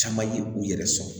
Caman ye u yɛrɛ sɔrɔ